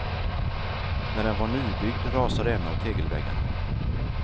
När den var nybyggd rasade en av tegelväggarna.